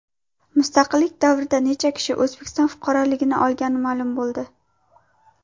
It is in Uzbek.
Mustaqillik davrida necha kishi O‘zbekiston fuqaroligini olgani ma’lum bo‘ldi.